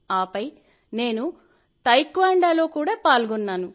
ఆపై నేను తైక్వాండోలో కూడా పాల్గొన్నాను